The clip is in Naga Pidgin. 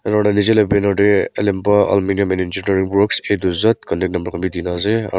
aru bithor teh a to z contact number khan bhi di ke na ase aru---